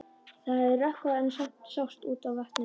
Það hafði rökkvað en samt sást út á vatnið.